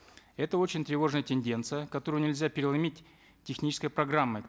это очень тревожная тенденция которую нельзя переломить технической программой